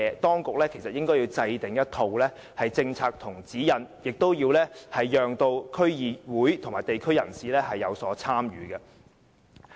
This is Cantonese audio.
當局應該制訂一套政策和指引，同時要讓區議會及地區人士有所參與。